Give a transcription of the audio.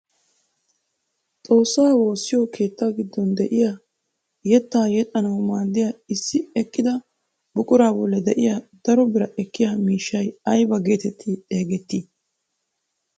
Xoossaa woossiyoo keettaa giddon de'iyaa yettaa yexxanawu maaddiyaa issi eqqida buquraa bolli de'iyaa daro biraa ekkiyaa miishshay aybaa getetti xeegettii?